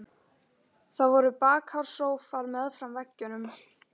Það voru bakháir sófar meðfram veggjunum.